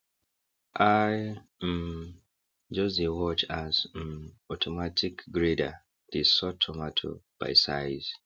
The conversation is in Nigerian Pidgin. i um just dey watch as um automatic grader dey sort tomato by size